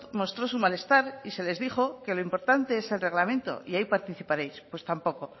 mostró su malestar y se les dijo que lo importante es el reglamento y ahí participaréis pues tampoco